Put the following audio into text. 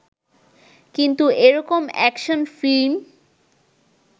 কিন্তু এরকম action film